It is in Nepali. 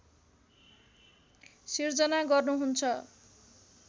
सिर्जना गर्नुहुन्छ